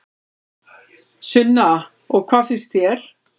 Sunna: Og hvað finnst þér?